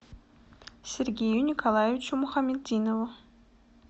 сергею николаевичу мухаметдинову